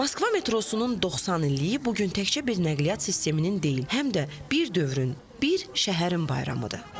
Moskva metrosunun 90 illiyi bu gün təkcə bir nəqliyyat sisteminin deyil, həm də bir dövrün, bir şəhərin bayramıdır.